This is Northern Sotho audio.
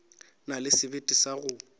na le sebete sa go